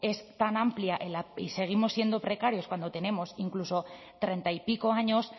es tan amplia y seguimos siendo precarios cuando tenemos incluso treinta y pico años